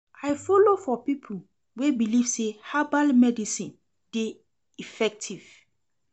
I folo for pipo wey believe sey herbal medicine dey effective.